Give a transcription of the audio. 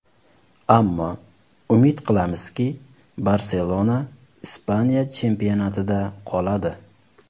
Ammo umid qilamizki, ‘Barselona’ Ispaniya chempionatida qoladi.